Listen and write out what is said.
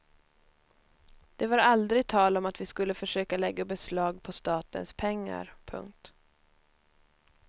Det var aldrig tal om att vi skulle försöka lägga beslag på statens pengar. punkt